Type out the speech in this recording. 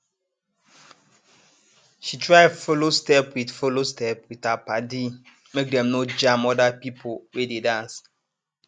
she try follow step with follow step with her padi make dem no jam other people wey dey dance